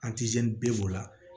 bi b'o la